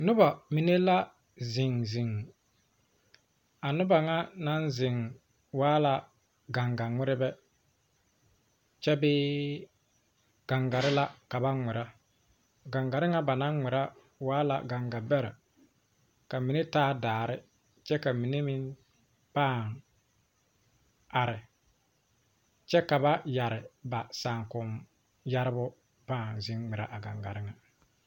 Noba mine la zeŋ zeŋ a noba ŋa naŋ waa la ganga ŋmeɛrebɛ. kyɛ bee gangare la ka ba ŋmeɛre a gangare ŋa ba naŋ ŋmeɛre wa la ganga beɛrɛ ka mine taa daare kyɛ ka mine meŋ paa are. kyɛ ka ba yeɛre ba saakomyeɛrebo a paa zeŋ ŋmeɛre a gangare ŋa